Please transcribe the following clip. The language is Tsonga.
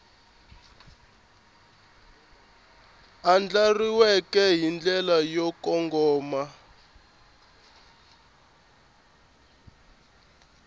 andlariwile hi ndlela yo kongoma